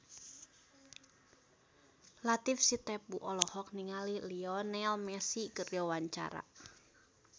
Latief Sitepu olohok ningali Lionel Messi keur diwawancara